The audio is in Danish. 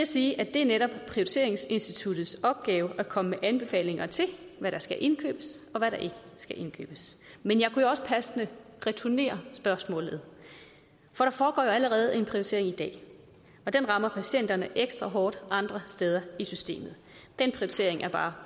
sige at det netop er prioriteringsinstituttets opgave at komme med anbefalinger til hvad der skal indkøbes og hvad der ikke skal indkøbes men jeg kunne jo også passende returnere spørgsmålet for der foregår allerede en prioritering i dag og den rammer patienterne ekstra hårdt andre steder i systemet den prioritering er bare